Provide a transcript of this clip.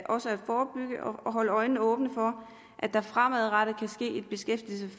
holde øjnene åbne for at der fremadrettet